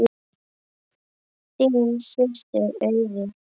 Þín systir Auður.